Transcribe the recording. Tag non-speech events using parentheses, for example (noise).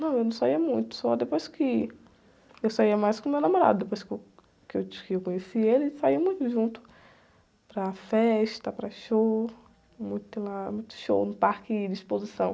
Não, eu não saía muito, só depois que... Eu saía mais com o meu namorado, depois que eu, que eu, (unintelligible) que eu conheci ele, saíamos juntos para festa, para show, muito lá, muito show no parque de exposição.